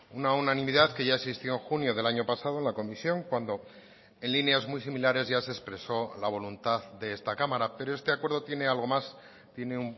una unanimidad que ya existió en junio del año pasado en la comisión cuando en líneas muy similares ya se expresó la voluntad de esta cámara pero este acuerdo tiene algo más tiene